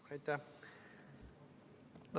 Aitäh!